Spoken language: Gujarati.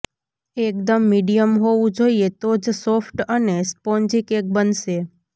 એકદમ મીડિયમ હોવું જોઈએ તો જ સોફ્ટ અને સ્પોંજી કેક બનશે